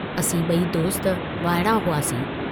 असीं बई दोस्त वाअड़ा हुआसीं।